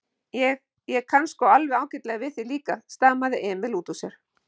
Ég. ég kann sko alveg ágætlega við þig líka, stamaði Emil útúr sér.